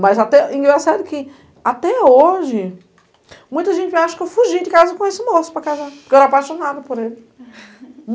Mas até, engraçado que, até hoje, muita gente acha que eu fugi de casa com esse moço para casar, porque eu era apaixonada por ele.